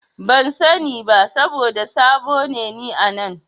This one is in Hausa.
Ban sani ba saboda sabo ne ni a nan.